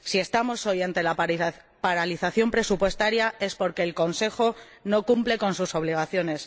Si estamos hoy ante la paralización presupuestaria es porque el Consejo no cumple sus obligaciones.